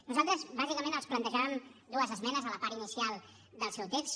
nosaltres bàsicament els plantejàvem dues esmenes a la part inicial del seu text